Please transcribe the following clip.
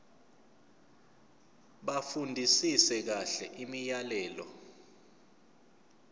bafundisise kahle imiyalelo